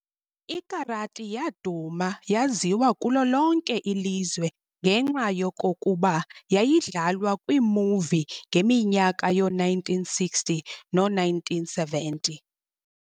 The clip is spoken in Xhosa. IKarati yaduma yaziwa kulo lonke ilizwe ngenxa yokokuba yayidlalwa kwiimovie ngeminyaka yoo1960 noo1970.